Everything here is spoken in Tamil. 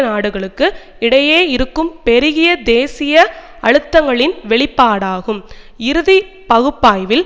நாடுகளுக்கு இடையே இருக்கும் பெருகிய தேசிய அழுத்தங்களின் வெளிப்பாடாகும் இறுதி பகுப்பாய்வில்